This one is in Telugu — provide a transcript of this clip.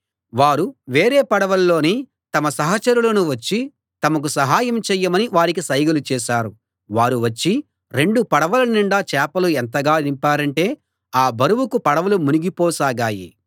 వారు వేరే పడవల్లోని తమ సహచరులను వచ్చి తమకు సహాయం చేయమని వారికి సైగలు చేశారు వారు వచ్చి రెండు పడవల నిండా చేపలు ఎంతగా నింపారంటే ఆ బరువుకు పడవలు మునిగిపోసాగాయి